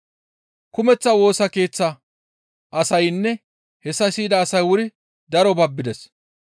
Kumeththa Woosa Keeththa asaynne hessa siyida asay wuri daro babbides.